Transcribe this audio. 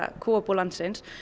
kúabú landins